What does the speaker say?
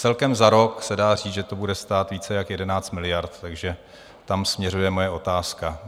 Celkem za rok se dá říct, že to bude stát více jak 11 miliard, takže tam směřuje moje otázka.